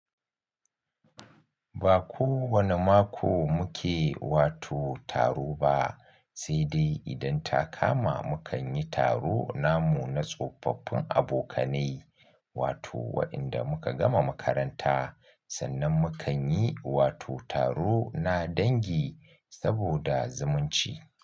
Ba kowane mako muke wato taro ba, sai dai idan ta kama mu kan yi taro namu na tsofaffin abokanai, wato wa'inda muka gama makaranta sannan mu kan yi wato taro na dangi saboda zumunci.